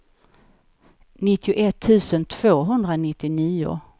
nittioett tusen tvåhundranittionio